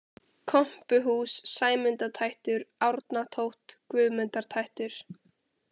Kompuhús, Sæmundatættur, Árnatótt, Guðmundartættur